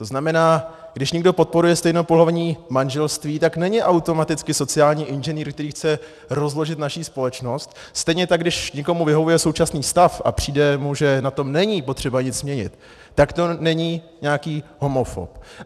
To znamená, když někdo podporuje stejnopohlavní manželství, tak není automaticky sociální inženýr, který chce rozložit naši společnost, stejně tak když někomu vyhovuje současný stav a přijde mu, že na tom není potřeba nic měnit, tak to není nějaký homofob.